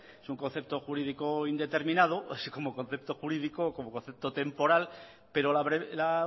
es un concepto jurídico indeterminado así como concepto jurídico o como concepto temporal pero la